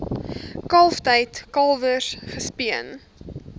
kalftyd kalwers gespeen